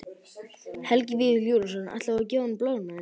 Helgi Vífill Júlíusson: Ætlar þú að gefa honum blöðruna þína?